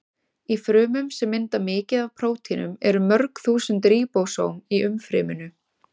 Í frumum sem mynda mikið af prótínum eru mörg þúsund ríbósóm í umfryminu.